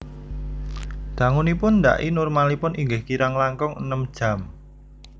Dangunipun ndhaki normalipun inggih kirang langkung enem jam